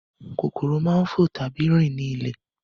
Kòkòrò máa ń fo tàbí rin ní ilẹ̀